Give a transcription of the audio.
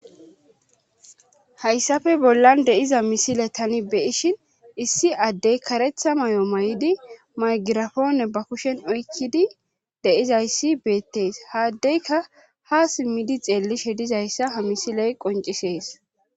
Hayssafe bollan deiza misile tani beyishin issi addey karetha may7o may7idi maygirafoone ba kushen oykkidi deizayssi beettees haaddeyka ha simmidi xeelishe dizayssa ha misiley qoncisees.